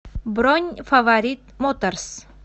бронь фаворит моторс